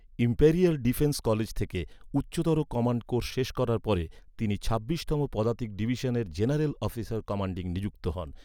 Imperial defence college থেকে উচ্চতর command course শেষ করার পরে তিনি ছাব্বিশতম পদাতিক ডিভিশনের জেনারেল অফিসার কমান্ডিং নিযুক্ত হন।